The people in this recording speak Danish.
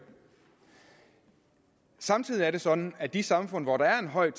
samtidig er det sådan at i de samfund hvor der er en høj